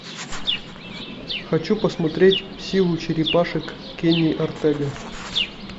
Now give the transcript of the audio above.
хочу посмотреть силу черепашек кени артега